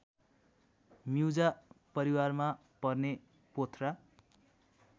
म्युजा परिवारमा पर्ने पोथ्रा